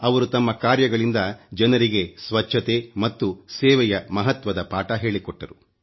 ಅವರು ತಮ್ಮ ಕಾರ್ಯಗಳಿಂದ ಜನರಿಗೆ ಸ್ವಚ್ಚತೆ ಮತ್ತು ಸೇವೆಯ ಮಹತ್ವದ ಪಾಠ ಹೇಳಿಕೊಟ್ಟರು